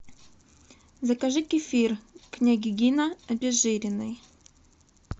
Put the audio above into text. закажи кефир княгинино обезжиренный